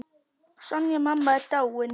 Sonja mamma er dáinn.